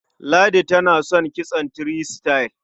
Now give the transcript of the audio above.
Ladi tana son kitson three star.